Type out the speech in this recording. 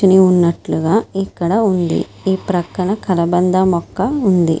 అని ఉన్నట్లుగా ఇక్కడ ఉంది ఇ పక్కన కలబంద మొక్క ఉంది.